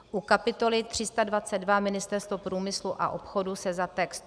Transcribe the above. U kapitoly 322 Ministerstvo průmyslu a obchodu se za text